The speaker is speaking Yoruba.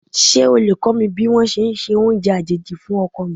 Ṣé o lè kó mi ní wón ṣe ẹ se oúnjẹ àjèjì fún ọkọ mi?